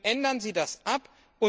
Ändern Sie das ab.